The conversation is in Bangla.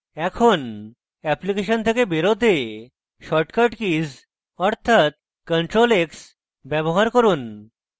এখন অ্যাপ্লিকেশন থেকে বেরোতে শর্টকাট key অর্থাৎ ctrl x ব্যবহার করুন